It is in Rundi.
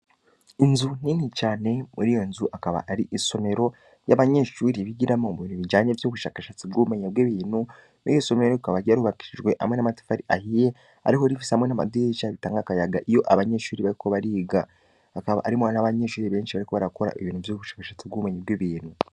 Inzu nini cane, muri iyo nzu akaba ari isomero y'abanyeshuri bigiramwo mu bintu bijanye vy'ubushakashatsi bw'ubumenye bw'ibintu, iryo somero rikaba ryarubakishijwe hamwe n'amatafari ahiye ariko rifise hamwe n'amadirisha bitanga akayaga iyo abanyeshuri bariko bariga, hakaba harimwo n'abanyeshuri benshi bariko barakora ibintu vy'ubushakashatsi bw'ubumenyi bw'ibintu.